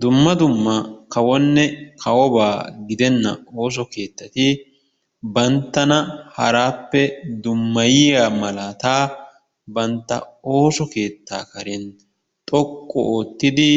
Dumma dumma kawonne kawobaa gidenna ooso keettati banttana haraappe dummayiyiaa malaataa bantta ooso keettaa karen xoqqu oottidi